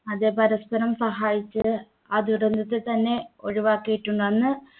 അതേ പരസ്പരം സഹായിച്ച് ആ ദുരന്തത്തെ തന്നെ ഒഴിവാക്കിയിട്ടുണ്ട് അന്ന്